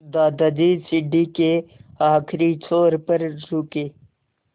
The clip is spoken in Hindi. दादाजी सीढ़ी के आखिरी छोर पर रुके